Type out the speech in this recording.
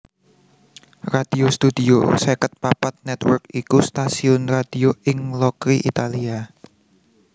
Radio Studio seket papat Network iku stasiun radio ing Locri Italia